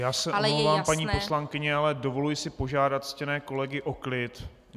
Já se omlouvám, paní poslankyně, ale dovoluji si požádat ctěné kolegy o klid.